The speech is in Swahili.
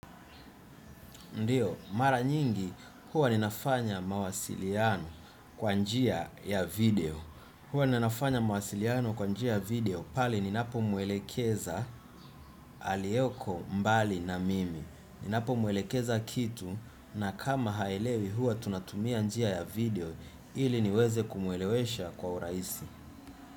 Ndiyo mara nyingi huwa ninafanya mawasiliano kwa njia ya video. Huwa ninafanya mawasiliano kwa njia video pale ninapo mwelekeza aliyeko mbali na mimi ninapo mwelekeza kitu na kama haelewi huwa tunatumia njia ya video ili niweze kumwelewesha kwa urahisi.